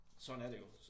Sådan er det jo